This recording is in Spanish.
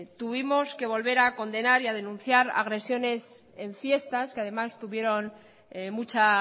tuvimos que volver a condenar y a denunciar agresiones en fiestas que además tuvieron mucha